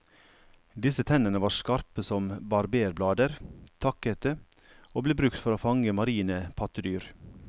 Disse tennene var skarpe som barberblader, takkete, og ble brukt for å fange marine pattedyr.